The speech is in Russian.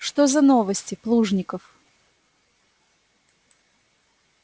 что за новости плужников